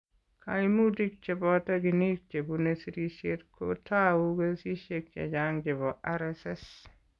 Kaimutik che boto ginit chebune sirishet ko tou kesishek chechang' chebo RSS .